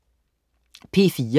P4: